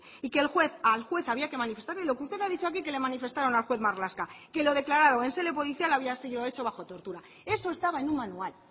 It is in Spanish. y que al juez había que manifestarle lo que usted ha dicho aquí que le manifestaron al juez marlasca que lo declarado en sede policial había sido hecho bajo tortura eso estaba en un manual